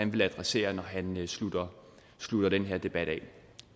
vil adressere når han slutter slutter denne debat af